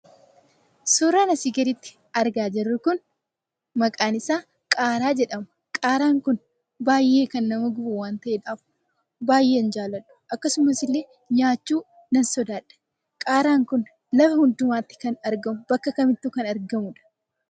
Suuraan asii gaditti argaa jirru kun maqaan isaa qaaraa jedhama. Qaaraan kun baay'ee kan nama gubu waan ta'edhaaf baay'ee hinjaaladhu. Akkasuma illee nyaachuu nan sodaadha. Qaaraan kun bakka kamittuu kan argamu: lafa kamittuu kan argamudha.